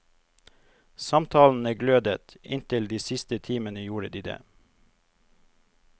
Samtalene glødet, inntil de siste timene gjorde de det.